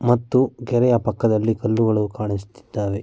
ಮತ್ತು ಕೆರೆಯ ಪಕ್ಕದಲ್ಲಿ ಕಲ್ಲುಗಳು ಕಾಣಿಸುತ್ತಿದ್ದಾವೆ.